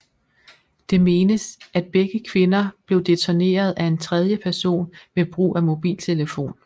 Det menes at begge kvinder blev detoneret af en tredje person ved brug af mobiltelefon